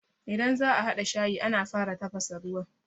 Idan za'a haɗa shayi, ana fara tafasa ruwa.